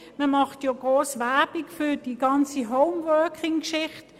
Man macht viel Werbung für die ganze Home-Working-Geschichte.